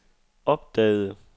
opdagede